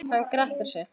Hann grettir sig.